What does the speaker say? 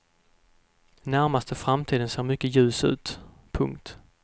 Närmaste framtiden ser mycket ljus ut. punkt